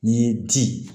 N'i y'i di